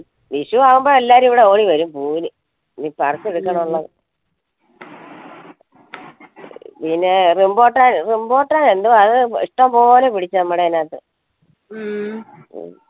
വിഷു ആവുമ്പം എല്ലാരും ഇവിടെ ഓടി വരും പൂവിന് ഇനി പറിച്ചെടുക്കണം ഉള്ളത് ഇഷ്ടം പോലെ പിടിച്ചു നമ്മളയനകത്തു